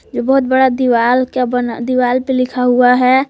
बहुत बड़ा दीवाल का बना दीवार पे लिखा हुआ है।